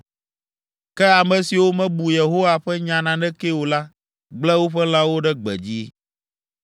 Ke ame siwo mebu Yehowa ƒe nya nanekee o la gblẽ woƒe lãwo ɖe gbedzi.